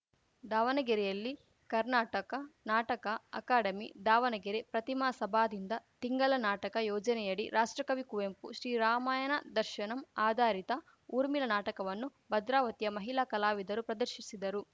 ದಾವನಗೆರೆಯಲ್ಲಿ ಕರ್ನಾಟಕ ನಾಟಕ ಅಕಾಡೆಮಿ ದಾವಣಗೆರೆ ಪ್ರತಿಮಾ ಸಭಾದಿಂದ ತಿಂಗಲ ನಾಟಕ ಯೋಜನೆಯಡಿ ರಾಷ್ಟ್ರಕವಿ ಕುವೆಂಪು ಶ್ರೀರಾಮಾಯಣ ದರ್ಶನಂ ಆಧಾರಿತ ಊರ್ಮಿಲಾ ನಾಟಕವನ್ನು ಭದ್ರಾವತಿಯ ಮಹಿಲಾ ಕಲಾವಿದರು ಪ್ರದರ್ಶಿಸಿದರು